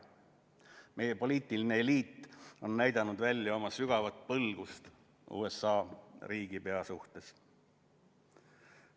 Meie poliitiline eliit on näidanud välja oma sügavat põlgust USA riigipea suhtes.